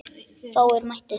Fáir mættu.